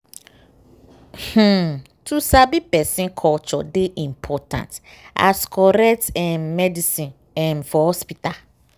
wait- ummm to sabi person culture dey important as correct um medicine um for hospital.